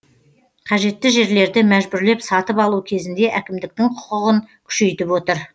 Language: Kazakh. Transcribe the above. қажетті жерлерді мәжбүрлеп сатып алу кезінде әкімдіктің құқығын күшейтіп отыр